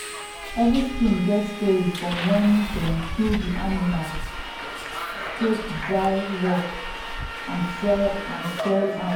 every skin get story from when dem kill the animal scrape dry work and sell and sell am.